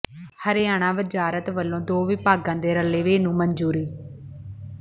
ਹਰਿਆਣਾ ਵਜ਼ਾਰਤ ਵੱਲੋਂ ਦੋ ਵਿਭਾਗਾਂ ਦੇ ਰਲੇਵੇਂ ਨੂੰ ਮਨਜ਼ੂਰੀ